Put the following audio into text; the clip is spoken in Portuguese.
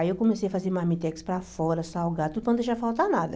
Aí eu comecei a fazer marmitex para fora, salgado, tudo para não deixar faltar nada.